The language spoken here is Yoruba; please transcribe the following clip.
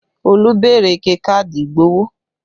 Olú béèrè ike káàdì ìgbowó